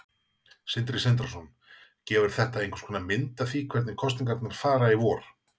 Sindri Sindrason: Gefur þetta einhverskonar mynd af því hvernig kosningarnar fara í vor?